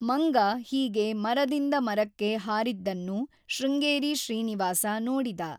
ಮಂಗ ಹೀಗೆ ಮರದಿಂದ ಮರಕ್ಕೆ ಹಾರಿದ್ದನ್ನು ಶೃಂಗೇರಿ ಶ್ರೀನಿವಾಸ ನೋಡಿದ.